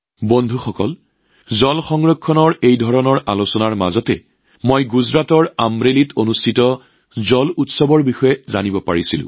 বন্ধুসকল পানী সংৰক্ষণৰ এনে আলোচনাৰ মাজতে গুজৰাটৰ আমৰেলীত অনুষ্ঠিত হোৱা জল উৎসৱৰ কথাও জানিব পাৰিলোঁ